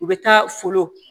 U bɛ taa folon